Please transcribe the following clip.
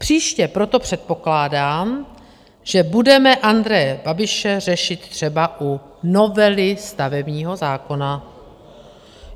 Příště proto předpokládám, že budeme Andreje Babiše řešit třeba u novely stavebního zákona.